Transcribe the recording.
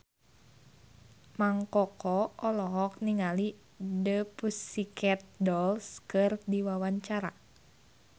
Mang Koko olohok ningali The Pussycat Dolls keur diwawancara